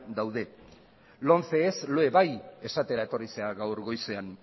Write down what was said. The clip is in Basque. daude lomce ez loe bai esatera etorri zara gaur goizean